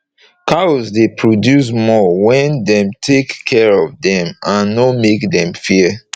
cows dey produce more wen dem take care of dem and nor make dem fear